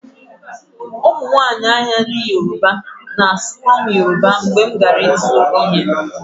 Ụmụnwaanyị ahịa ndị yoruba na-asụkwa m Yoruba mgbe m gara ịzụ ihe